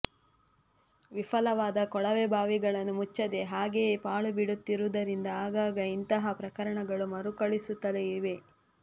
ವಿಫಲವಾದ ಕೊಳವೆಬಾವಿಗಳನ್ನು ಮುಚ್ಚದೇ ಹಾಗೆಯೇ ಪಾಳುಬಿಡುತ್ತಿರುವುದರಿಂದ ಆಗಾಗ ಇಂತಹ ಪ್ರಕರಣಗಳು ಮರುಕಳಿಸುತ್ತಲೇ ಇವೆ